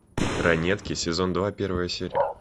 ранетки сезон два первая серия